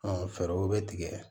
fɛɛrɛw bɛ tigɛ